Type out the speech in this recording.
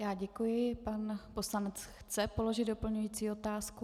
Já děkuji, pan poslanec chce položit doplňující otázku.